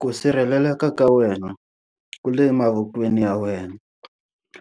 Ku sirheleleka ka wena ku le mavokweni ya wena.